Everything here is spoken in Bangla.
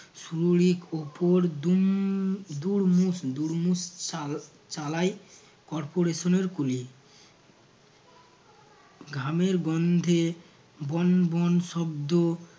উপর দুম দুরমুশ দুরমুশ চালা~ চালায় corporation এর কুলি ঘামের গন্ধে বন বন শব্দ